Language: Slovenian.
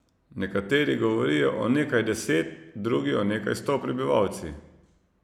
Nekateri govorijo o nekaj deset, drugi o nekaj sto prebivalci.